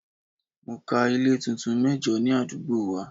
Mo ka ilé tuntun mẹ́jo ní àdúgbò wa.